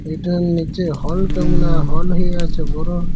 এটার নিচে হল কেমনা হল হয়ে আছে বড়ো-ও--